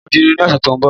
n o dirun ni ọsẹ ti o n bo